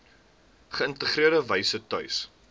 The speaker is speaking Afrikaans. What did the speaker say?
geïntegreerde wyse tuis